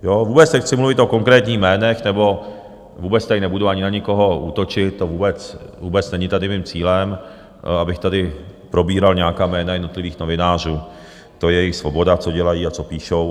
Vůbec nechci mluvit o konkrétních jménech nebo vůbec tady nebudu ani na nikoho útočit, to vůbec není tady mým cílem, abych tady probíral nějaká jména jednotlivých novinářů, to je jejich svoboda, co dělají a co píší.